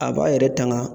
A b'a yɛrɛ tanga